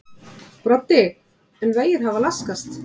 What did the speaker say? Broddi: En vegir hafa laskast?